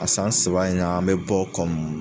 A san saba in na, an mi bɔ kɔmi